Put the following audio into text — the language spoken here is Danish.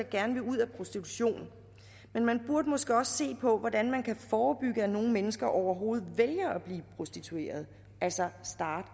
gerne vil ud af prostitution men man burde måske også se på hvordan man kan forebygge at nogle mennesker overhovedet vælger at blive prostitueret altså starte